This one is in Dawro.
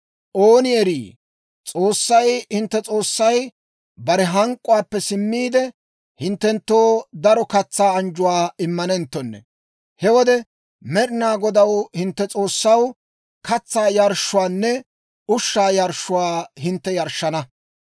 Ooni erii, S'oossay hintte S'oossay, bare hank'k'uwaappe simmiide, hinttenttoo daro katsaa anjjuwaa immanenttonne. He wode Med'inaa Godaw, hintte S'oossaw, katsaa yarshshuwaanne ushshaa yarshshuwaa hintte yarshshana.